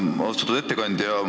Austatud ettekandja!